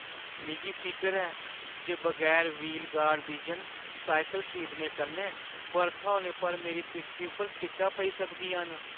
मिगी फिकर ऐ जे बगैर व्हील गार्ड बिजन साइकल खरीदने कन्नै बरखा होने पर मेरी पिट्ठी उप्पर छिट्टां पेई सकदियां न।